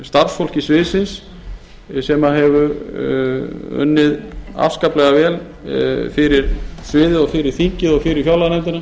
starfsfólki sviðsins sem hefur unnið afskaplega vel fyrir sviðið og fyrir þingið og fyrir fjárlaganefndina